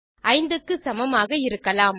5 க்கு சமமாக இருக்கலாம்